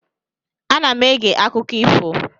Ana m ege akụkọ ifo.